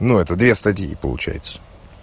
ну это две стадии получается